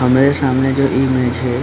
हमरे सामने जो इमेज है --